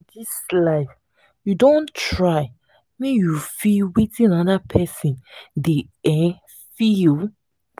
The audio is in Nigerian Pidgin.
for dis life you don try make you feel wetin anoda pesin dey um feel?